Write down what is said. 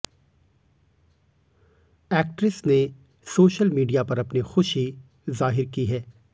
actress ने social media पर अपनी खुशी जाहिर की है